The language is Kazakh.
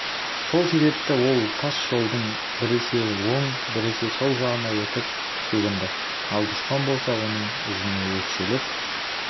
сол себепті ол тас жолдың біресе оң біресе сол жағына өтіп шегінді ал дұшпан болса оның ізіне өкшелеп